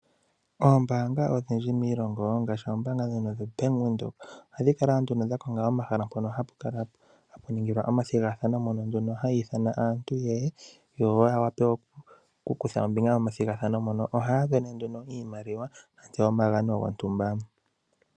Ombaanga odhindji miilongo ngashi oombanga dhono dho Bank Windhoek, ohadhi kala nduno dha konga omahala mpono hapu kala hapu ningilwa omathigathano, mono nduno haya ithana yeye, yo ya wape okukutha ombinga momathigathano mono. Ohaya sindana nduno iimaliwa nenge omagano gontumba.